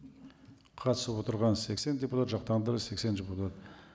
қатысып отырған сексен депутат сексен депутат